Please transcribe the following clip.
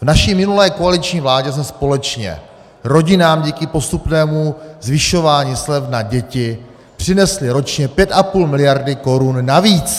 V naší minulé koaliční vládě jsme společně rodinám díky postupnému zvyšování slev na děti přinesli ročně 5,5 miliardy korun navíc.